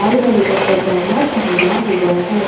लाल रंग का पजामा पहना हुआ है।